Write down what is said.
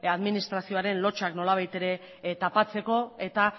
administrazioaren lotsak nolabait ere tapatzeko eta